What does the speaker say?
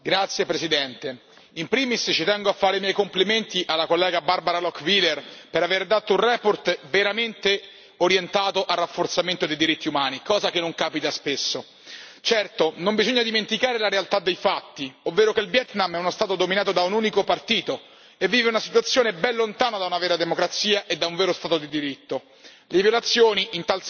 Signor Presidente, onorevoli colleghi, in primis ci tengo a fare i miei complimenti all'onorevole Barbara Lochbihler, per aver presentato una relazione veramente orientata al rafforzamento dei diritti umani, cosa che non capita spesso. Certo, non bisogna dimenticare la realtà dei fatti, ovvero che il Vietnam è uno Stato dominato da un unico partito e vive una situazione ben lontana da una vera democrazia e da un vero Stato di diritto.